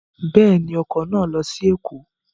Bẹ́ẹ̀ni, ọkọ̀ náà lọ sí Ẹ̀kọ́